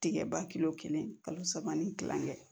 Tigɛba kilo kelen kalo saba ni kilan kɛ